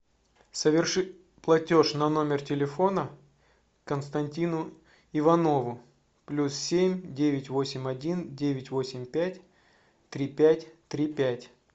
соверши платеж на номер телефона константину иванову плюс семь девять восемь один девять восемь пять три пять три пять